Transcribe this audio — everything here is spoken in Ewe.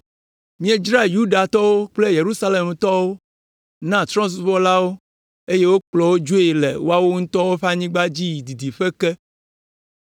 Miedzra Yudatɔwo kple Yerusalemtɔwo na Trɔ̃subɔlawo eye wokplɔ wo dzoe le woawo ŋutɔ ƒe anyigba dzi yi didiƒe ke.